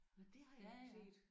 Nåh det har jeg ikke set